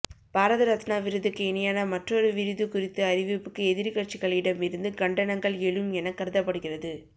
பாரத ரத்னா விருதுக்கு இணையான மற்றொரு விருது குறித்த அறிவிப்புக்கு எதிர்க்கட்சிகளிடம் இருந்து கண்டனங்கள் எழும் என கருதப்படுகிறது